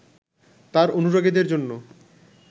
তাঁর অনুরাগীদের জন্য